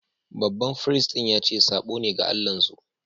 Baɓan firistin ya ce sabo ne ga Allah'n su.